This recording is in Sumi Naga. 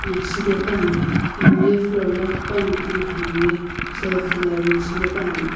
shepapani hamye floor lo qhiepani ano hamye shelf lo arrange shepapani.